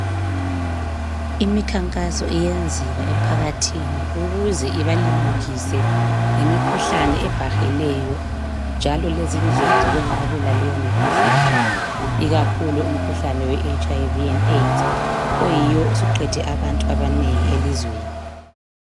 Imikhankaso iyenziwa emphakathini ukuze ibalimukise ngemikhuhlane ebhahileyo njalo lezindlela zokwenqabela leyo mikhuhlane ikakhulu umkhuhlane weHiv le Aids oyiwo osuqede abantu abanengi elizweni.